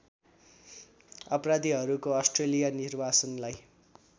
अपराधीहरूको अस्ट्रेलिया निर्वासनलाई